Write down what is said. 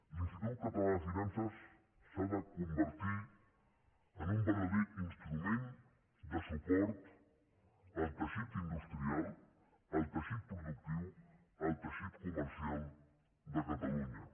l’institut català de finances s’ha de convertir en un verdader instrument de suport al teixit industrial al teixit productiu al teixit comercial de catalunya